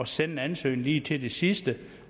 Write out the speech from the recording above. sende en ansøgning lige til sidste